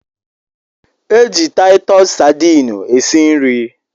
E ji taitus Sadini esi nri